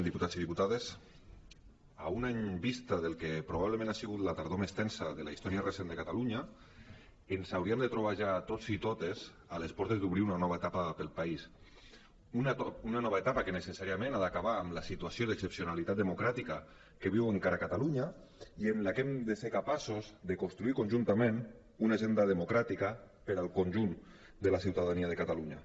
diputats i diputades a un any vista del que probablement ha sigut la tardor més tensa de la història recent de catalunya ens hauríem de trobar ja tots i totes a les portes d’obrir una nova etapa per al país una nova etapa que necessàriament ha d’acabar amb la situació d’excepcionalitat democràtica que viu encara catalunya i en la que hem de ser capaços de construir conjuntament una agenda democràtica per al conjunt de la ciutadania de catalunya